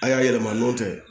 A y'a yɛlɛma n'o tɛ